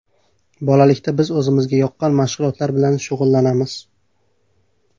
Bolalikda biz o‘zimizga yoqqan mashg‘ulotlar bilan shug‘ullanamiz.